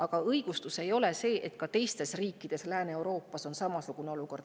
Aga õigustus ei ole see, et ka teistes riikides Lääne-Euroopas on samasugune olukord.